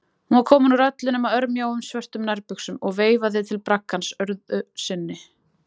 Hún var komin úr öllu nema örmjóum, svörtum nærbuxum og veifaði til braggans öðru sinni.